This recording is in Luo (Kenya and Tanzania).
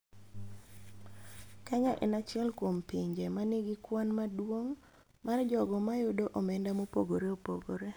Kenya en achiel kuom pinje ma nigi kwan maduong� mar jogo ma yudo omenda mopogore opogore.